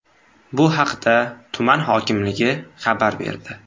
Bu haqda tuman hokimligi xabar berdi .